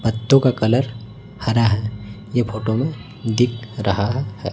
पत्तों का कलर हरा है ये फोटो में दिख रहा है।